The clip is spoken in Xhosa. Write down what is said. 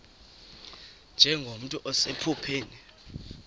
nje nomntu osephupheni